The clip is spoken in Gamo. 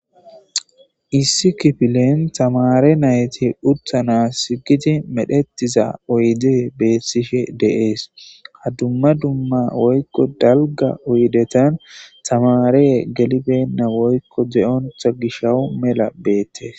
issi kifilen tamare nayti uttanas gidi medhetiza oyde beethtishe deees ha dumma dumma woykko dalga uydetan tamaree gelibenna woykko zeyontha gishawu mela beettes